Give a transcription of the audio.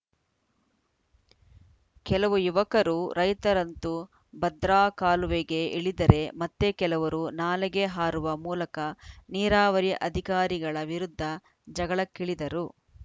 ಕೆಲವು ಯುವಕರು ರೈತರಂತೂ ಭದ್ರಾ ಕಾಲುವೆಗೆ ಇಳಿದರೆ ಮತ್ತೆ ಕೆಲವರು ನಾಲೆಗೆ ಹಾರುವ ಮೂಲಕ ನೀರಾವರಿ ಅಧಿಕಾರಿಗಳ ವಿರುದ್ಧ ಜಗಳಕ್ಕಿಳಿದರು